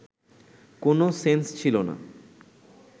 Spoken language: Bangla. কোনো সেন্স ছিল না